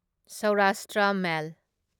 Saurashtra ꯃꯦꯜ